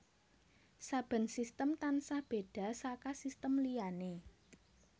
Saben sistem tansah béda saka sistem liyané